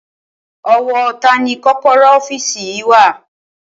O̩wó̩ ta ni kó̩kó̩ró̩ ófíìsì yìí wà?